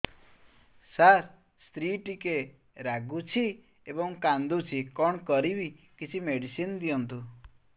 ସାର ସ୍ତ୍ରୀ ଟିକେ ରାଗୁଛି ଏବଂ କାନ୍ଦୁଛି କଣ କରିବି କିଛି ମେଡିସିନ ଦିଅନ୍ତୁ